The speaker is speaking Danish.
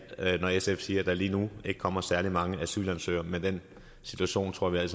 når sf siger at der lige nu ikke kommer særlig mange asylansøgere men den situation tror jeg